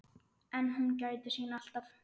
En hún gætir sín alltaf.